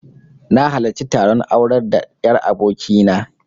Na halarci taron aurar da 'yar aboki na